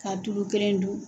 K'a tulu kelen dun.